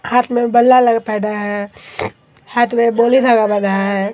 हाथ में बल्ला लगा पहेना है हाथ मे धागा बाधा है।